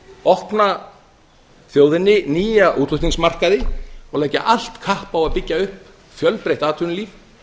opna þjóðinni nýja útflutnings markaði og leggja allt kapp á að byggja upp fjölbreytt atvinnulíf